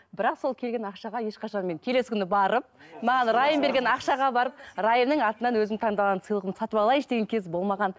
бірақ сол келген ақшаға ешқашан мен келесі күні барып маған райым берген ақшаға барып райымның атынан өзім таңдаған сыйлығым сатып алайыншы деген кез болмаған